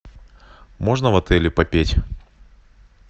можно в отеле попеть